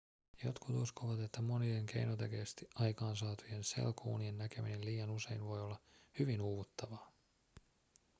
jotkut uskovat että monien keinotekoisesti aikaansaatujen selkounien näkeminen liian usein voi olla hyvin uuvuttavaa